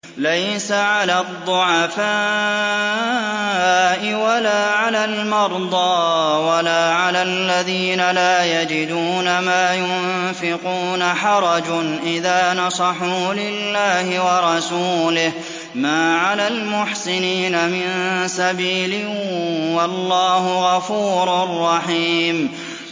لَّيْسَ عَلَى الضُّعَفَاءِ وَلَا عَلَى الْمَرْضَىٰ وَلَا عَلَى الَّذِينَ لَا يَجِدُونَ مَا يُنفِقُونَ حَرَجٌ إِذَا نَصَحُوا لِلَّهِ وَرَسُولِهِ ۚ مَا عَلَى الْمُحْسِنِينَ مِن سَبِيلٍ ۚ وَاللَّهُ غَفُورٌ رَّحِيمٌ